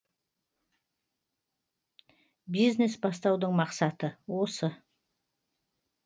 бизнес бастаудың мақсаты осы